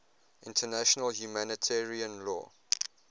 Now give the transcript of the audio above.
international humanitarian law